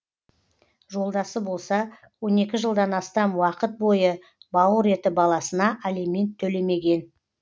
жолдасы болса он екі жылдан астам уақыт бойы бауыр еті баласына алимент төлемеген